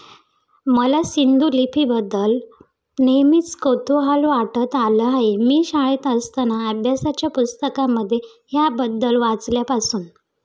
मला सिंधू लिपीबद्दल नेहेमीच कुतूहल वाटत आलं आहे. मी शाळेत असताना अभ्यासाच्या पुस्तकामध्ये ह्याबद्द्ल वाचल्यापासून